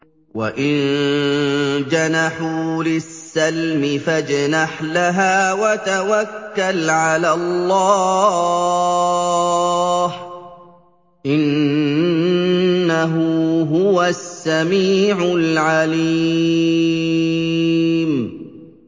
۞ وَإِن جَنَحُوا لِلسَّلْمِ فَاجْنَحْ لَهَا وَتَوَكَّلْ عَلَى اللَّهِ ۚ إِنَّهُ هُوَ السَّمِيعُ الْعَلِيمُ